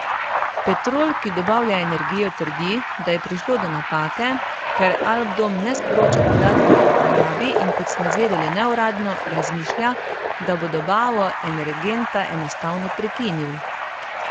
Petrol, ki dobavlja energijo trdi, da je prišlo do napake, ker Alpdom ne sporoča podatkov o porabi in kot smo zvedeli neuradno, razmišlja, da bo dobavo energenta enostavno prekinil.